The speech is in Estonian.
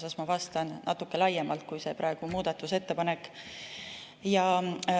Nii et ma vastan natuke laiemalt kui see praegune muudatusettepanek.